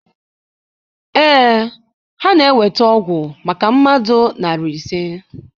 Ee, ha na eweta ọgwụ maka mmadụ narị ise